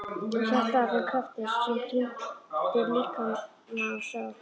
Og hjartað að þeim krafti sem kyndir líkama og sál?